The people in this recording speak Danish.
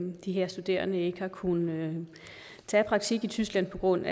de her studerende ikke har kunnet tage praktik i tyskland på grund